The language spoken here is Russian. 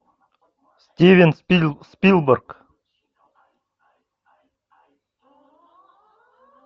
стивен спилберг